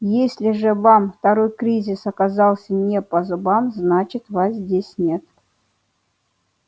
если же вам второй кризис оказался не по зубам значит вас здесь нет